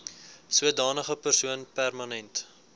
sodanige persoon permanent